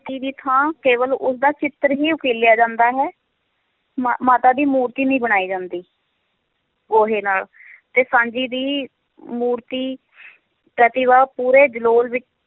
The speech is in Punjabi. ਦੀ ਥਾਂ ਕੇਵਲ ਉਸਦਾ ਚਿੱਤਰ ਹੀ ਉਕੀਲਿਆ ਜਾਂਦਾ ਹੈ, ਮਾ~ ਮਾਤਾ ਦੀ ਮੂਰਤੀ ਨਹੀਂ ਬਣਾਈ ਜਾਂਦੀ ਗੋਹੇ ਨਾਲ ਤੇ ਸਾਂਝੀ ਦੀ ਮੂਰਤੀ ਪ੍ਰਤਿਭਾ ਪੂਰੇ ਜਲੋਲ ਵਿੱਚ